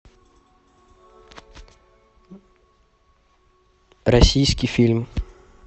российский фильм